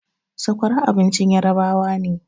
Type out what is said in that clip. Sakwara abincin yarabawa ne